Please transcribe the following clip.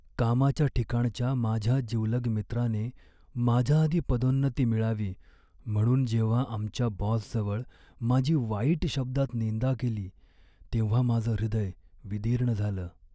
कामाच्या ठिकाणच्या माझ्या जिवलग मित्राने माझ्याआधी पदोन्नती मिळावी म्हणून जेव्हा आमच्या बॉसजवळ माझी वाईट शब्दात निंदा केली तेव्हा माझं हृदय विदीर्ण झालं.